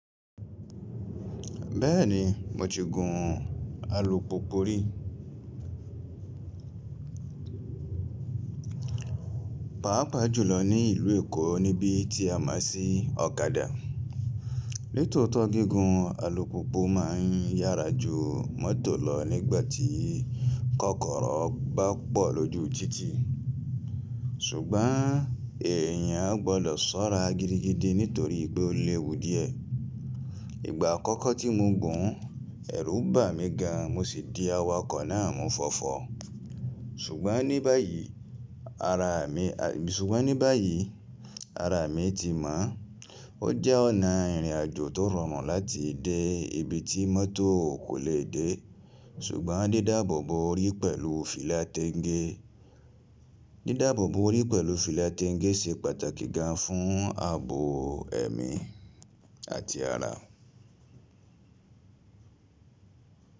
Bẹ́ẹ̀ni, mo ti gùn alùpùpù rí. Paapaa jùlọ ní ìlú Èkó níbi tí a máa ń sí ọ̀kadà. Nitòótọ́ gígùn alùpùpù máa ń yára ju mọ́tò lọ nígbà tí kọ́kọ́rọ́ bá pọ̀ lójú títì. Ṣùgbọ́n èyàn gbọdọ̀ ṣọ́ra gidigidi nítorí pé ó léwu díẹ̀. Ìgbà àkọ́kọ́ tí mo gùn, ẹ̀rù bà mí gan mo sì di awakọ̀ náà mú fọfọ. Ṣùgbọ́n ní báyìí ara mi, ṣùgbọ́n ní báyìí ara mi ti mọ̀. Ó jẹ́ ọ̀nà ìrìnàjò tó rọrùn láti dé ibi tí mọ́tò kò lè dé. Ṣùgbọ́n dídáàbò bo orí pẹ̀lú fìlà téńgé, dídáàbò bo orí pẹ̀lú fìlà téńgé ṣe pàtàkì gan fún ààbò ẹ̀mí àti ara.